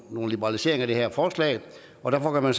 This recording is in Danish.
nogle liberaliseringer i det her forslag og derfor kan man